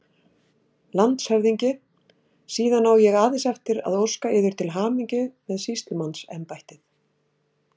LANDSHÖFÐINGI: Síðan á ég aðeins eftir að óska yður til hamingju með sýslumannsembættið!